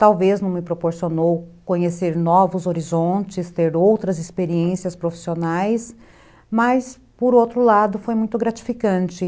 Talvez não me proporcionou conhecer novos horizontes, ter outras experiências profissionais, mas, por outro lado, foi muito gratificante.